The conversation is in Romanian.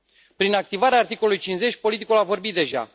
Prin activarea articolului 50, politicul a vorbit deja.